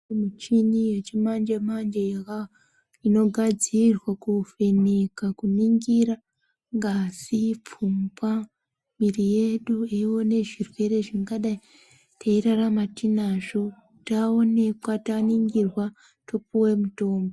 Muchini yechimanje manje yaka inogadzirwa kuvheneka kuningira ngazi pfungwa miri yedu yeiya nezvirwere zvingadai teirarama tinazvo taonekwa taningirwa topuwe mutombo.